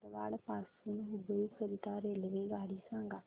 धारवाड पासून हुबळी करीता रेल्वेगाडी सांगा